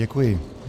Děkuji.